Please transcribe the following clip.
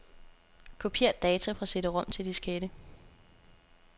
Kopier data fra cd-rom til diskette.